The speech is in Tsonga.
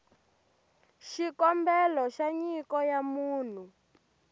xikombelo xa nyiko ya munhu